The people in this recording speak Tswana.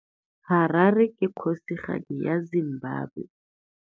Harare ke kgosigadi ya Zimbabwe.